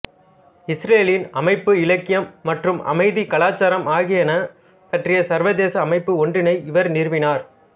இஸ்ரேலின் அமைப்பு இலக்கியம் மற்றும் அமைதி கலாச்சாரம் ஆகியன பற்றிய சர்வதேச அமைப்பு ஒன்றினை இவர் நிறுவினார்